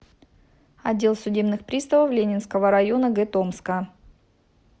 отдел судебных приставов ленинского района г томска